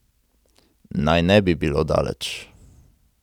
Naj ne bi bilo daleč.